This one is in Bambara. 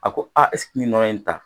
A ko a n ye nɔnɔ in ta